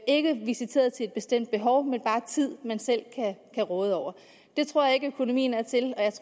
ikke visiteret til et bestemt behov men bare tid man selv kan råde over det tror jeg ikke økonomien er til